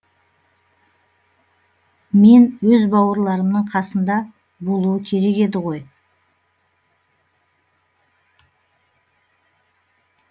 мен өз бауырларымның қасында болуы керек еді ғой